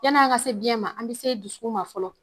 Yan'an ka se biyɛn ma an bɛ se dusukun ma fɔlɔ.